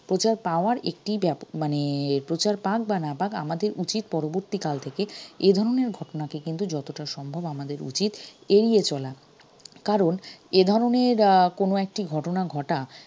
প্রচার পাওয়ার একটি মানে প্রচার পাক বা না পাক আমাদের উচিত পরবর্তীকাল থেকে এধরণের ঘটনাকে কিন্তু যতটা সম্ভব আমাদের উচিত এড়িয়ে চলা কারণ এধরনের কোনো একটি ঘটনা ঘটা